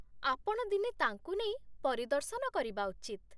ଆପଣ ଦିନେ ତାଙ୍କୁ ନେଇ ପରିଦର୍ଶନ କରିବା ଉଚିତ୍।